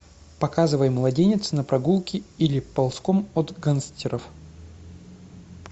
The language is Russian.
показывай младенец на прогулке или ползком от гангстеров